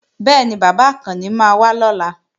Bẹ́ẹ̀ni, bàbá Àkànni máa wá lọ́la